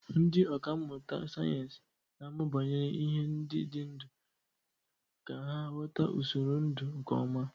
Ndị ọkà mmụta sayensị na-amụ banyere ihe ndị dị ndụ ka ha ghọta usoro ndụ nke ọma.